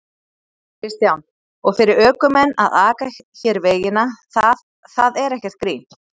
Kristján: Og fyrir ökumenn að aka hér vegina, það, það er ekkert grín?